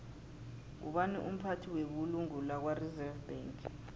ngubani umphathi webulungo lakwareserve bank